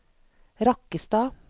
Rakkestad